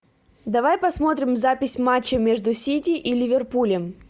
давай посмотрим запись матча между сити и ливерпулем